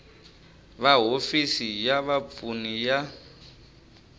va hofisi ya vapfuni ya